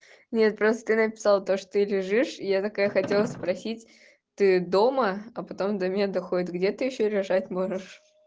нет просто ты написала то что ты лежишь и я такая хотела спросить ты дома а потом до меня доходит где ты ещё лежать можешь